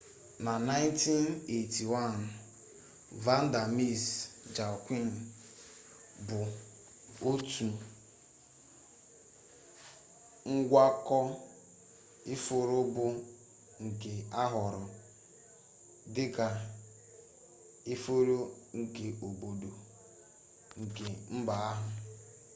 na 1981 vanda miss joaquim otu ngwakọ ifuru bụ nke ahọrọ dị ka ifuru nkeobodo nke mba ahụ